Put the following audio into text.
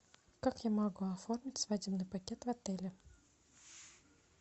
как я могу оформить свадебный пакет в отеле